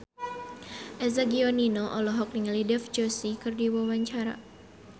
Eza Gionino olohok ningali Dev Joshi keur diwawancara